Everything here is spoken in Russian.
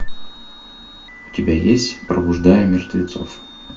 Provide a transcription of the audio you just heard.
у тебя есть пробуждая мертвецов